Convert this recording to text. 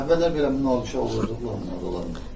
Əvvəllər belə münaqişə olurdu Qulamla aralarında?